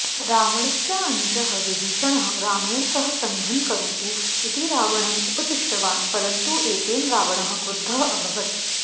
रावणस्यानुजः विभीषणः रामेण सह सन्धिं करोतु इति रावणम् उपदिष्टवान् परन्तु एतेन रावणः क्रुद्धः अभवत्